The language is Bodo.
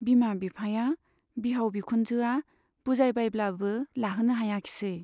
बिमा बिफाया, बिहाव बिखुनजोआ बुजायबायब्लाबो लाहोनो हायाखिसै।